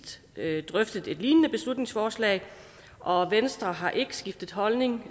drøftede et lignende beslutningsforslag og venstre har ikke skiftet holdning